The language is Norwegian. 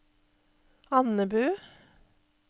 Andebu